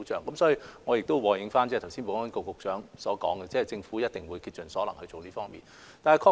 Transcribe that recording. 因此，我和應保安局局長剛才所說，政府一定會竭盡所能做好這方面的工作。